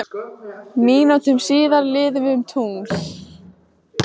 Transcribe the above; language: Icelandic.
Mínútum síðar líðum við um tungl